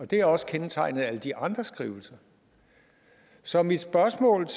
det er også kendetegnet ved alle de andre skrivelser så mit spørgsmål